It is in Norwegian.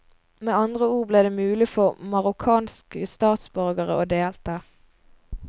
Med andre ord ble det mulig for marokkanske statsborgere å delta.